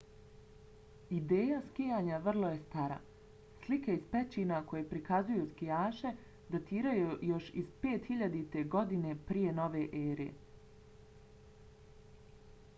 ideja skijanja vrlo je stara - slike iz pećina koje prikazuju skijaše datiraju još iz 5000. godine p.n.e.!